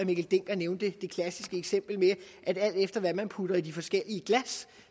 mikkel dencker nævnte det klassiske eksempel med at alt efter hvad man putter i de forskellige glas